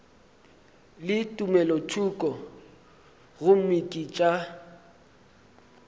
le tumelothoko gomme ke tša